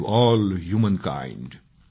to all humankind